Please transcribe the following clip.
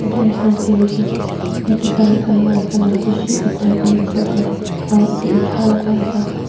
etu ekta garage ase yete gari khan white colour bishi othai kina ase opor dae aro etu otha laka laka--